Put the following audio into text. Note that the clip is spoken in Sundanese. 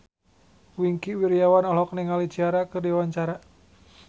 Wingky Wiryawan olohok ningali Ciara keur diwawancara